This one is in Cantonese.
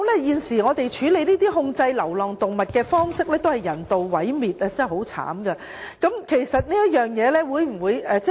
現時處理及控制流浪動物的方式只是人道毀滅，實在太殘忍！